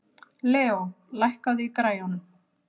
Leo, lækkaðu í græjunum.